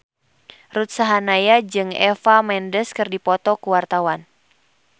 Ruth Sahanaya jeung Eva Mendes keur dipoto ku wartawan